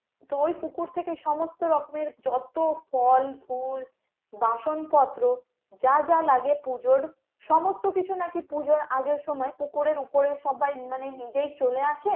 তো ওই পুকুর থেকে সমস্ত রকমের যত ফল ফুল বাসনপত্র যা যা লাগে পুজোর সমস্ত কিছু নাকি পুজোর আগের সময় পুকুরে ওপরে সবাই মানে নিজেই চলে আসে,